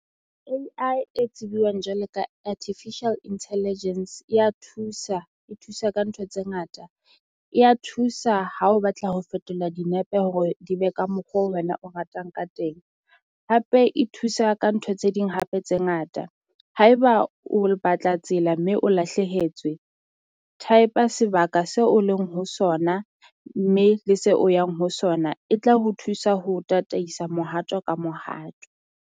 A_I e tsibuwang jwalo ka Artificial Intelligence e ya thusa e thusa ka ntho tse ngata, e ya thusa ha o batla ho fetola dinepe hore di be ka mokgwa oo wena o ratang ka teng, hape e thusa ka ntho tse ding hape tse ngata. Haeba o batla tsela mme o lahlehetswe type-a sebaka seo o leng ho sona mme le se o yang ho sona e tla ho thusa ho o tataisa mohato ka mohato.